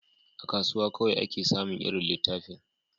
A kasuwa kawai ake samin irin littafin